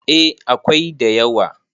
eh akwai da yawa